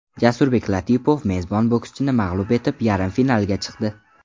Jasurbek Latipov mezbon bokschini mag‘lub etib, yarim finalga chiqdi.